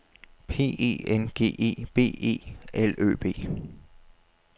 P E N G E B E L Ø B